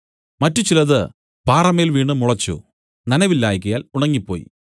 മറ്റു ചിലത് പാറമേൽ വീണു മുളച്ചു നനവില്ലായ്കയാൽ ഉണങ്ങിപ്പോയി